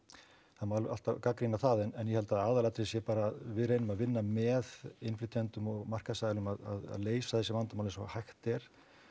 það má alltaf gagnrýna það en ég held að aðalatriðið sé bara við reynum að vinna með innflytjendum og markaðsaðilum að leysa þessi vandamál eins og hægt er